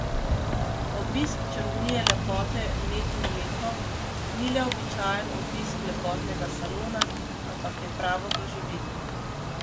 Obisk čarovnije lepote medinmleko ni le običajen obisk lepotnega salona, ampak je pravo doživetje.